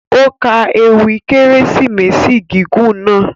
O ka èwi Keresimesi gigun kan.